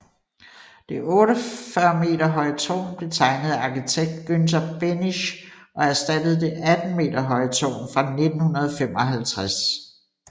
Det 48 meter høje tårn blev tegnet af arkitekt Günter Behnisch og erstattede det 18 meter høje tårn fra 1955